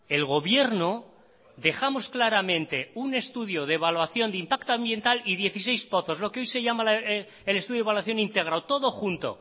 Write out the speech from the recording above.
el gobierno dejamos claramente un estudio de evaluación de impacto ambiental y dieciséis pozos lo que hoy se llama el estudio de evaluación íntegra todo junto